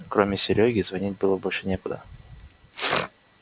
кроме серёги звонить было больше некуда